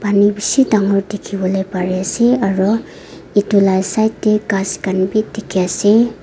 panu bishi dangor dikhiwolae pare ase aro edu la side tae ghas khan bi dikhiase.